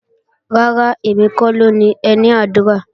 Rárá, èmi kọ́ ló ni ẹní àdúrà